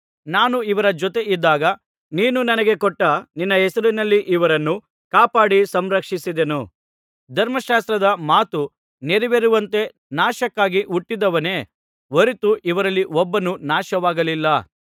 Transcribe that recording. ನಾನು ಇವರ ಜೊತೆ ಇದ್ದಾಗ ನೀನು ನನಗೆ ಕೊಟ್ಟ ನಿನ್ನ ಹೆಸರಿನಲ್ಲಿ ಇವರನ್ನು ಕಾಪಾಡಿ ಸಂರಕ್ಷಿಸಿದೆನು ಧರ್ಮಶಾಸ್ತ್ರದ ಮಾತು ನೆರವೇರುವಂತೆ ನಾಶಕ್ಕಾಗಿ ಹುಟ್ಟಿದವನೇ ಹೊರತು ಇವರಲ್ಲಿ ಒಬ್ಬನೂ ನಾಶವಾಗಲಿಲ್ಲ